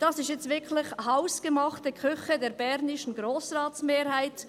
Das ist jetzt wirklich hausgemachte Küche der bernischen Grossratsmehrheit.